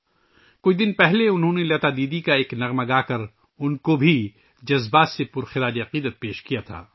کچھ دن پہلے، انہوں نے ایک گانا گا کر لتا دیدی کو خراج عقیدت بھی پیش کیا تھا